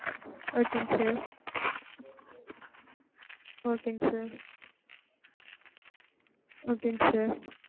Okay ங்க sir. Okay ங்க sir. Okay ங்க sir.